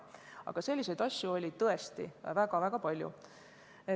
Aga selliseid asju oli tõesti väga palju.